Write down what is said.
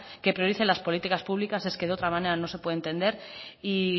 que priorice las políticas públicas es que de otra manera no se puede entender y